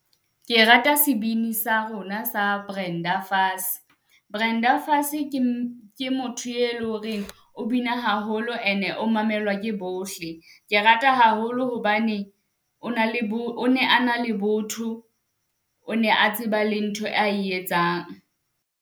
Ke rata sebini sa rona sa Brenda Fassie, Brenda Fassie ke , ke motho e leng horeng o bina haholo ene o mamelwa ke bohle. Ke rata haholo hobane o na le , o ne ana le botho, o ne a tseba le ntho a e etsang.